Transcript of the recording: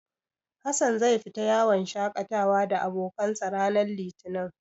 Hassan zai fita yawon shaƙatawa da abokansa, ranar Litinin.